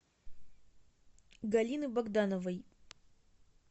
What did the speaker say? галины богдановой